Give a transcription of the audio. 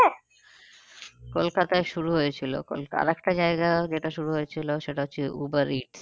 কলকাতায় শুরু হয়েছিল আর একটা জায়গা যেটা শুরু হয়েছিল সেটা হচ্ছে উবার ইটস।